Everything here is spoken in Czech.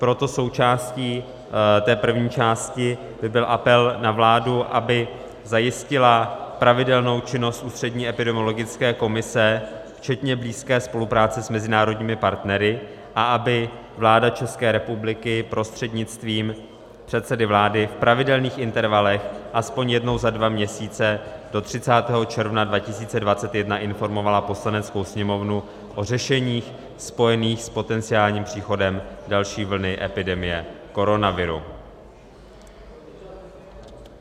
Proto součástí té první části by byl apel na vládu, aby zajistila pravidelnou činnost Ústřední epidemiologické komise včetně blízké spolupráce s mezinárodními partnery a aby vláda České republiky prostřednictvím předsedy vlády v pravidelných intervalech aspoň jednou za dva měsíce do 30. června 2021 informovala Poslaneckou sněmovnu o řešeních spojených s potenciálním příchodem další vlny epidemie koronaviru.